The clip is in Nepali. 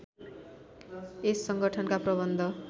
यस संगठनका प्रबन्ध